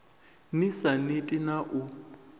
ni sa neti na u